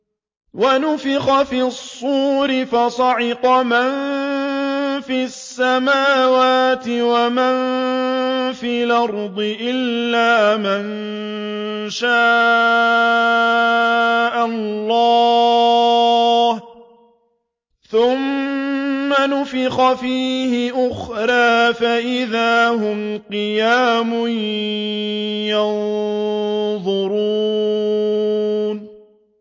وَنُفِخَ فِي الصُّورِ فَصَعِقَ مَن فِي السَّمَاوَاتِ وَمَن فِي الْأَرْضِ إِلَّا مَن شَاءَ اللَّهُ ۖ ثُمَّ نُفِخَ فِيهِ أُخْرَىٰ فَإِذَا هُمْ قِيَامٌ يَنظُرُونَ